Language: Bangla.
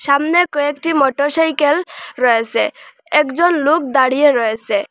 সামনে কয়েকটি মটর সাইকেল রয়েসে একজন লোক দাঁড়িয়ে রয়েসে।